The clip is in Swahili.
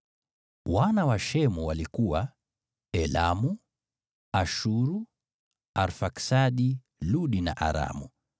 Wana wa Shemu walikuwa: Elamu, Ashuru, Arfaksadi, Ludi na Aramu.